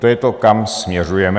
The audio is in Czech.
To je to, kam směřujeme.